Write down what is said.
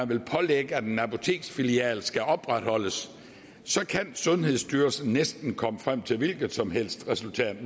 vil pålægge at en apoteksfilial skal opretholdes kan sundhedsstyrelsen næsten komme frem til et hvilket som helst resultat